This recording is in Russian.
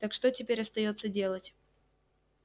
так что теперь остаётся делать